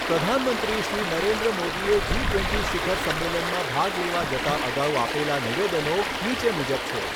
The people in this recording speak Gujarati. પ્રધાનમંત્રી શ્રી નરેન્દ્ર મોદીએ જી ટ્વેન્ટી શિખર સંમેલનમાં ભાગ લેવા જતાં અગાઉ આપેલા નિવેદનનો નીચે મુજબ છે.